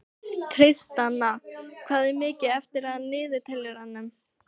Tristana, hvað er mikið eftir af niðurteljaranum?